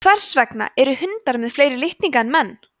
hvers vegna eru hundar með fleiri litninga en menn